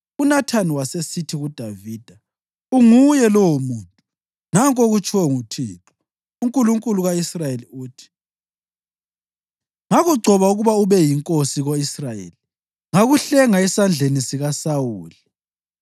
UNathani wasesithi kuDavida, “Unguye lowomuntu! Nanku okutshiwo nguThixo, uNkulunkulu ka-Israyeli uthi: ‘Ngakugcoba ukuba ube yinkosi ko-Israyeli, ngakuhlenga esandleni sikaSawuli.